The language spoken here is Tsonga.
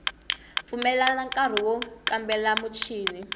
pfumelela nkari wo kambela michini